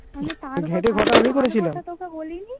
গেটে ঘ টা আমি করেছিলাম. আমি তার তোকে বলিনি